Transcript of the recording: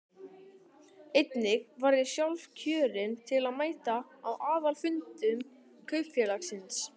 Einnig var ég sjálfkjörinn til að mæta á aðalfundum kaupfélagsins.